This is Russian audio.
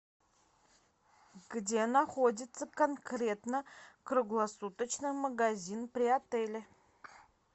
где находится конкретно круглосуточный магазин при отеле